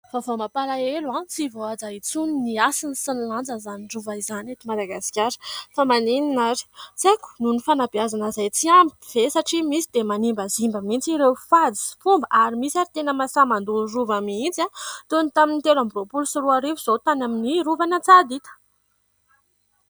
Vaovao mampalahelo ! Tsy voahaja intsony ny hasina sy ny lanjan' izany rova izany eto Madagasikara. Fa maninona ary ? Tsy haiko, nohon' ny fanabeazana izay tsy ampy ve ? Satria misy dia manimbazimba mihitsy ireo fady sy fomba ary misy ary ireo tena mahasahy mandoro rova mihitsy. Toy ny tamin'ny telo ambi- roapolo sy roa arivo izao, tany amin'ny rovan' Antsahadinta.